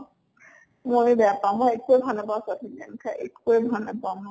ময়ো বেয়া পাওঁ। মই একোয়েই ভাল নাপাওঁ south indian খাই, একোৱে ভাল নাপাওঁ